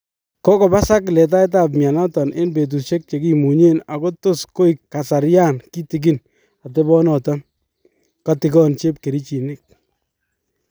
kokobosak letaet ab myanoton en betusiek chekimunyen ako tos koek kasarian kitikin atebonoton , katigon chepkerichinik .